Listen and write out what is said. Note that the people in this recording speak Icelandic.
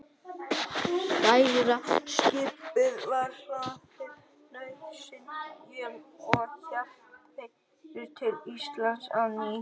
Stærra skipið var hlaðið nauðsynjum og héldu þeir til Íslands á ný.